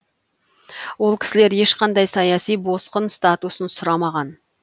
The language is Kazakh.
ол кісілер ешқандай саяси босқын статусын сұрамаған